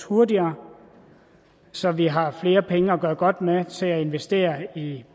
hurtigere så vi har flere penge at gøre godt med til at investere i